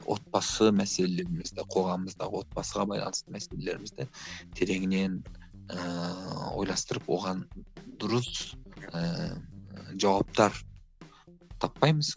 отбасы мәселемізді қоғамымыздағы отбасыға байланысты мәселелерімізді тереңінен ііі ойластырып оған дұрыс ііі жауаптар таппаймыз